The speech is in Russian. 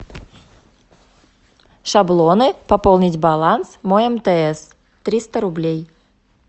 шаблоны пополнить баланс мой мтс триста рублей